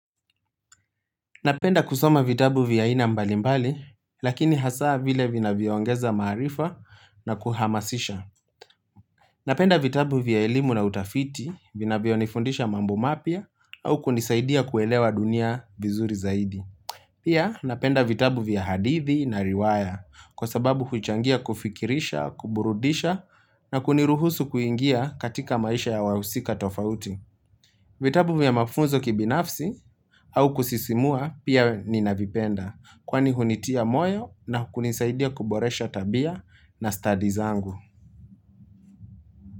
Napenda kusoma vitabu vya aina mbalimbali, lakini hasaa vile vinavyoongeza maarifa na kuhamasisha. Napenda vitabu vya elimu na utafiti, vinavyonifundisha mambo mapya, au kunisaidia kuelewa dunia bizuri zaidi. Pia napenda vitabu vya hadithi na riwaya, kwa sababu huchangia kufikirisha, kuburudisha, na kuniruhusu kuingia katika maisha ya wahusika tofauti. Vitabu vya mafunzo kibinafsi, haukusisimua pia ninavipenda, kwani hunitia moyo, na kunisaidia kuboresha tabia na studies zangu.